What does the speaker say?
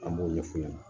An b'o ɲɛf'u ɲɛna